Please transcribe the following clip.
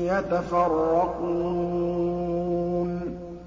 يَتَفَرَّقُونَ